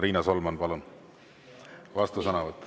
Riina Solman, palun, vastusõnavõtt.